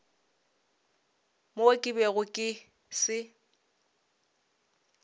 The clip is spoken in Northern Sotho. mo ke bego ke se